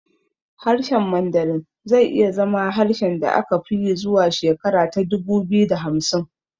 Harshen Mandarin zai iya zama harshen da aka fi yi zuwa shekara ta dubu biyu da hamsin